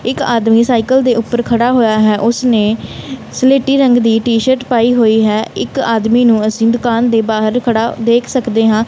ਇੱਕ ਆਦਮੀ ਸਾਈਕਲ ਦੇ ਉੱਪਰ ਖੜਾ ਹੋਇਆ ਹੈ ਉਸਨੇ ਸਲੇਟੀ ਰੰਗ ਦੀ ਟੀ ਸ਼ਰਟ ਪਾਈ ਹੋਈ ਹੈ ਇੱਕ ਆਦਮੀ ਨੂੰ ਅਸੀਂ ਦੁਕਾਨ ਦੇ ਬਾਹਰ ਖੜਾ ਦੇਖ ਸਕਦੇ ਹਾਂ।